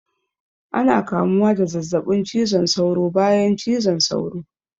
Ana kamuwa da zazzaɓin cizon saura bayan cizon sauro